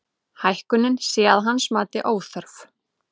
Hækkunin sé að hans mati óþörf